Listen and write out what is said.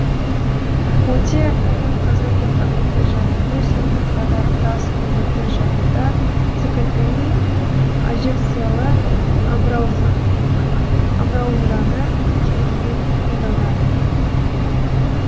өте ірі қазандық агреты жағуды сонымен қатар тас көмірді жағуда цкти әжекциялы амбразураны кеңінен қолданады